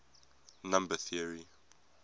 number theory